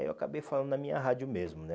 Aí eu acabei falando na minha rádio mesmo, né?